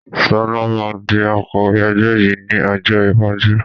Sọlá máa di Akọ̀wẹ́ ẹgbẹ́ yìí ni ọjọ́ iwájú